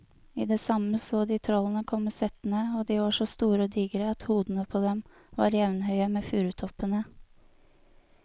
I det samme så de trollene komme settende, og de var så store og digre at hodene på dem var jevnhøye med furutoppene.